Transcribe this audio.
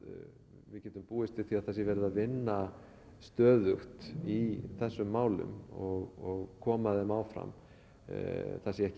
við getum búist við því að það sé verið að vinna stöðugt í þessum málum og koma þeim áfram það sé ekki